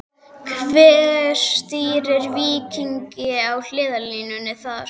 Hver stýrir Víkingi á hliðarlínunni þar?